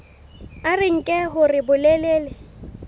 a re nke hore bolelele